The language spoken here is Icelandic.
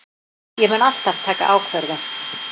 Ég mun alltaf taka ákvörðun.